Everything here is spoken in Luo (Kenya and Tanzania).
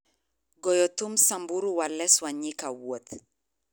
goyo thum samburu wa les wanyika wuoth